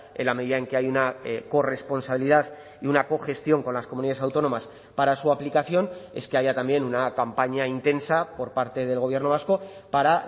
en la medida en que hay una corresponsabilidad y una cogestión con las comunidades autónomas para su aplicación es que haya también una campaña intensa por parte del gobierno vasco para